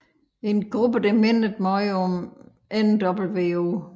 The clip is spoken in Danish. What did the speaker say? En gruppe der mindede meget om nWo